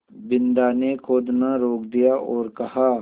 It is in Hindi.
बिन्दा ने खोदना रोक दिया और कहा